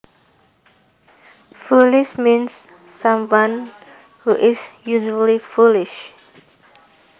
Foolish means someone who is usually foolish